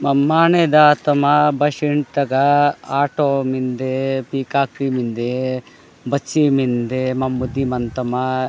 म माने दात तमा बेसिन तगा आटो मिनदे पीकक फिल मिन्दे बिछी मिन्दे मंबती मंदतामा।